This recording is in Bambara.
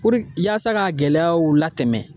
yaasa k'a gɛlɛyaw latɛmɛ